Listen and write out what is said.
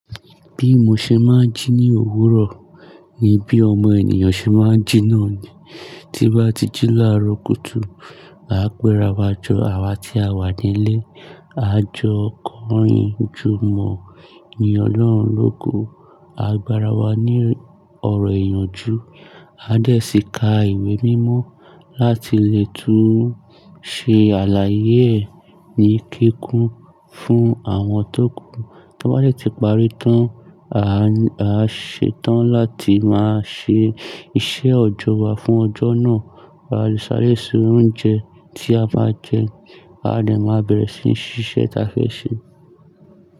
Bí mo ṣe máa ń jí ní òwúrọ̀, ni bí ọmọ ènìyàn ṣe máa ń jí náà ni. Tí n bá ti jí lára kùtù, à pẹ́ra wa jọ àwa tí a wà nílé. A jọ kọrin, júmọ̀ yín ọlọ́run lógo. A gbára wa ní ọ̀rọ̀ ìyànjú. A dẹ̀ sí ka ìwé mímọ́ láti lè tún ṣe àlàyé ẹ̀ ní kíkún fún àwọn tókù. Tí a bá de ti parí tán, a ṣe tán láti máa ṣe iṣẹ́ ọjọ́ wa fún ọjọ́ náà. A lé sáré sè oúnjẹ, tí a máa jẹ, a de máa bẹ̀rẹ̀ sí ní ṣíṣe ta fẹ́ ṣe.